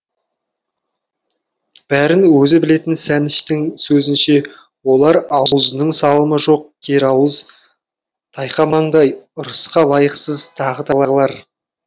бәрін өзі білетін сәніштің сөзінше олар аузының салымы жоқ керауыз тайқы маңдай ырысқа лайықсыз тағы тағылар